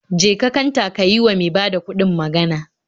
Je ka kanta ka yi wa mai bada kuɗi magan